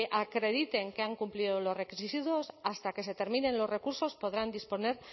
acrediten que han cumplido los requisitos hasta que se determinen los recursos podrán disponer